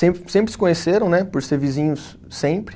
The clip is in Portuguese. Sempre sempre se conheceram né, por ser vizinhos sempre.